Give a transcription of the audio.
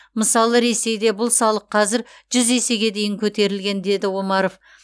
мысалы ресейде бұл салық қазір жүз есеге дейін көтерілген деді омаров